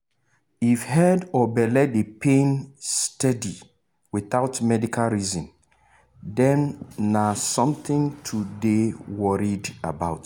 if head or belle dey pain steady without medical reason dem na something to dey worried about.